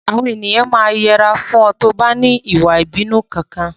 Àwọn ènìyàn máa yẹra fún ọ tí o bá ní ìwà ìbínú Kankan.